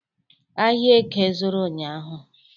Ahịa Eke zụrụ unyaahụ.